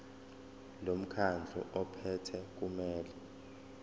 lomkhandlu ophethe kumele